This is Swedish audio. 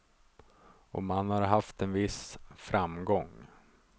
Och man har haft en viss framgång.